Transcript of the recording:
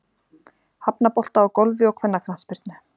Hafnabolta og Golfi og kvennaknattspyrnu.